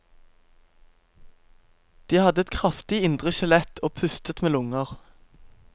De hadde et kraftig indre skjelett og pustet med lunger.